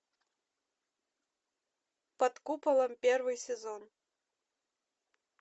под куполом первый сезон